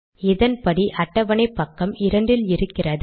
இதன்படி அட்டவணை பக்கம் இரண்டில் இருக்கிறது